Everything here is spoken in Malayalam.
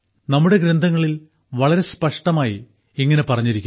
നമ്മുടെ ഗ്രന്ഥങ്ങളിൽ വളരെ സ്പഷ്ടമായി ഇങ്ങനെ പറഞ്ഞിരിക്കുന്നു